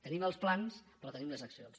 tenim els plans però tenim les accions